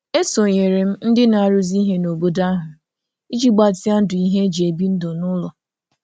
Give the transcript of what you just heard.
E sonyeere m ndị na-arụzi ihe n'obodo ahụ iji gbatịa ndụ ihe e ji ebi ndụ n'ụlọ.